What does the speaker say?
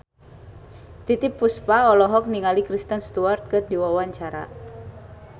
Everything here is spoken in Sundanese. Titiek Puspa olohok ningali Kristen Stewart keur diwawancara